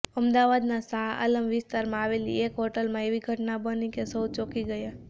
અમદાવાદના શાહઆલમ વિસ્તારમાં આવેલી એક હોટલમાં એવી ઘટના બની કે સૌ કોઈ ચોંકી ગયા